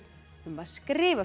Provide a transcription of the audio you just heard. um að skrifa